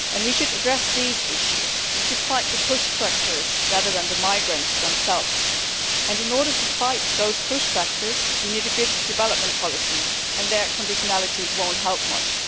We should address these issues and we should fight the push factors rather than the migrants themselves. In order to fight those push factors, we need a good development policy and, there, conditionality will not help much.